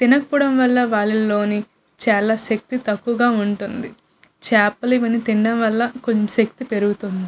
తినకపోవటం వల్ల వాళ్ళల్లో శక్తి చాలా తక్కువుగా ఉంటుంది. చేపలు ఇవన్నీ తినడం వల్ల కొంచెం శక్తి పెరుగుతుంది.